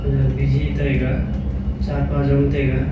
khanyak biji taiga cha pa zong taiga.